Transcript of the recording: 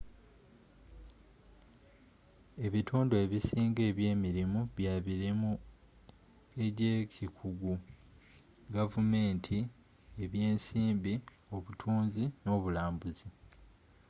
ebitundu ebisinga eby'emirimu bya mirimu egy'ekikugu gavumenti eby'ensimbi obutunzi n'obulambuzi